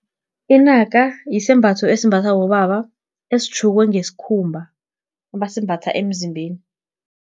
Inaka, yisembatho esimbathwa bobaba, esitjhukwe ngesikhumba, abasimbatha emzimbeni.